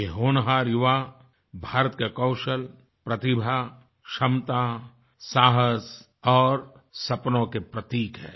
ये होनहार युवा भारत के कौशल प्रतिभा क्षमता साहस और सपनों के प्रतीक हैं